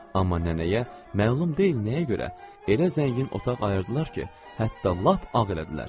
Amma nənəyə məlum deyil nəyə görə elə zəngin otaq ayırdılar ki, hətta lap ağ elədilər.